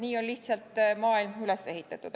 Nii on lihtsalt maailm üles ehitatud.